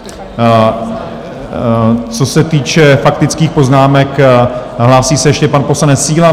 Co se týče faktických poznámek, hlásí se ještě pan poslanec Síla?